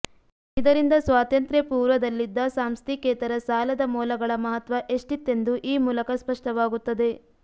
ಇದರಿಂದ ಸ್ವಾತಂತ್ರ್ಯಪೂರ್ವದಲ್ಲಿದ್ದ ಸಾಂಸ್ಥಿಕೇತರ ಸಾಲದ ಮೂಲಗಳ ಮಹತ್ವ ಎಷ್ಟಿತ್ತೆಂದು ಈ ಮೂಲಕ ಸ್ಪಷ್ಟವಾಗುತ್ತದೆ